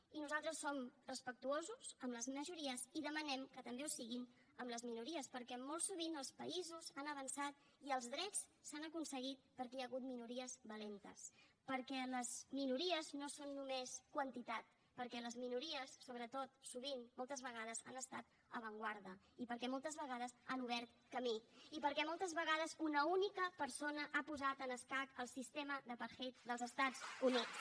i nosaltres som respectuosos amb les majories i demanem que també ho siguin amb les minories perquè molt sovint els països han avançat i els drets s’han aconseguit perquè hi ha hagut minories valentes perquè les minories no són només quantitat perquè les minories sobretot sovint moltes vegades han estat avantguarda i perquè moltes vegades han obert camí i perquè moltes vegades una única persona ha posat en escac el sistema d’apartheid dels estats units